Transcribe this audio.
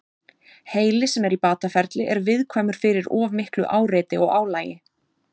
Heili sem er í bataferli er viðkvæmur fyrir of miklu áreiti og álagi.